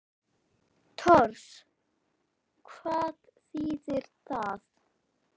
Tors. hvað þýðir það?